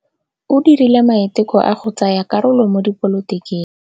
O dirile maitekô a go tsaya karolo mo dipolotiking.